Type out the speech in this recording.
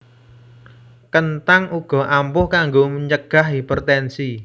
Kenthang uga ampuh kanggo ncegah hipertensi